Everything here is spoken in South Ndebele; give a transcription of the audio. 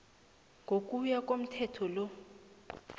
ngokuya komthetho lo